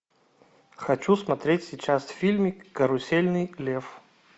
хочу смотреть сейчас фильмик карусельный лев